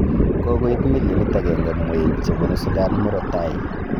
Kokoit millionit agenge mweik chebunu Sudan murotai